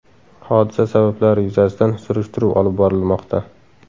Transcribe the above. Hodisa sabablari yuzasidan surishtiruv olib borilmoqda.